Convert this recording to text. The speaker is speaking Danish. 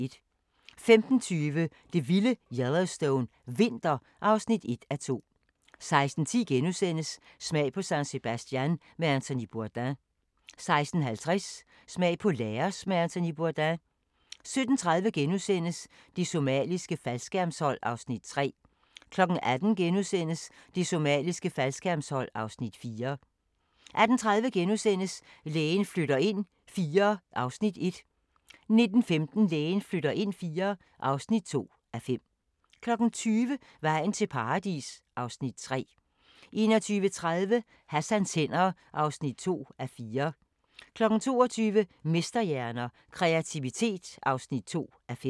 15:20: Det vilde Yellowstone – vinter (1:2) 16:10: Smag på San Sebastian med Anthony Bourdain * 16:50: Smag på Laos med Anthony Bourdain 17:30: Det somaliske faldskærmshold (Afs. 3)* 18:00: Det somaliske faldskærmshold (Afs. 4)* 18:30: Lægen flytter ind IV (1:5)* 19:15: Lægen flytter ind IV (2:5) 20:00: Vejen til Paradis (Afs. 3) 21:30: Hassans hænder (2:4) 22:00: Mesterhjerner – Kreativitet (2:5)